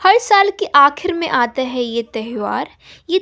हर साल की आखिर में आते हैं ये त्यौहार ये--